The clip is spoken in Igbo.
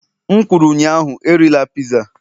M kwuru ụnyaahụ, erila piza